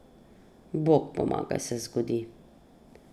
Bog pomagaj, se zgodi.